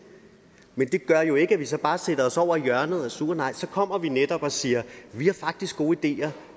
men det gør jo ikke at vi så bare sætter os over i hjørnet og er sure nej så kommer vi netop og siger vi har faktisk gode ideer